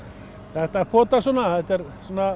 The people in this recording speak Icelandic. þetta potast svona þetta er